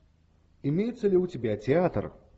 имеется ли у тебя театр